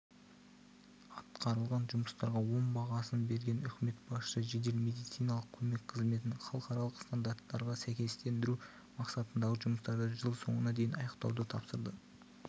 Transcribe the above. атқарылған жұмыстарға оң бағасын берген үкімет басшысы жедел медициналық көмек қызметін халықаралық стандарттарға сәйкестендіру мақсатындағы жұмыстарды жыл соңына дейін аяқтауды тапсырды